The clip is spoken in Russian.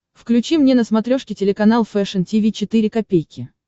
включи мне на смотрешке телеканал фэшн ти ви четыре ка